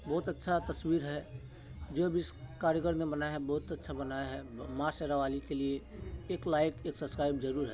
बहुत अच्छा तस्वीर है जो भी इस कारीगर ने बनाया हैबहुत अच्छा बनाया है माँ शेरा वाली के लिए एक लाइक एक सबस्क्राइब जरूर है ।